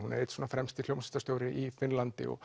hún er einn fremsti hljómsveitarstjóri í Finnlandi og